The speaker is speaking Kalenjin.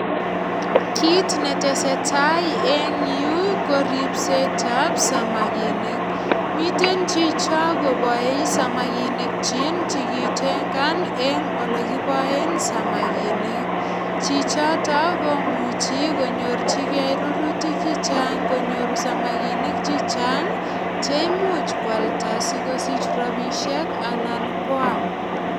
Kit netesetai eng yu ko ripsetab samakinik. Miten chicho koboei samakinikyik chikitengan eng olekipoen samakinik. Chichoto komuchi konyorchige rurutik che chang konyor samakinik che chang che imuch kwalda sigosich rapisiek anan kwam.